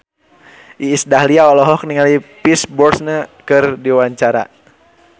Iis Dahlia olohok ningali Pierce Brosnan keur diwawancara